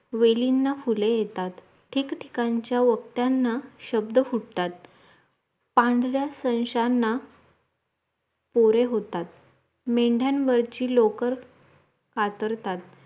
वेलींना फुले येतात ठिकठीकांच्या ओठ्यांना शब्द फुटतात पांढरा सस्यांना पोरे होतात मेंढ्यांवरची लोकर कातरतात